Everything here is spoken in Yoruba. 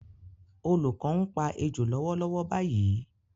Olùkọ́ ń pa ejò lọ́wọ́lọ́wọ́ báyìí